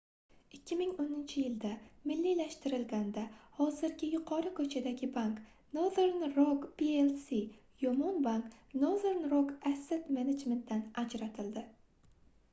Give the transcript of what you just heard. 2010-yilda milliylashtirilganida hozirgi yuqori ko'chadagi bank — nothern rock plc yomon bank nothern rock asset management dan ajratildi